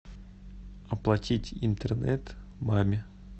оплатить интернет маме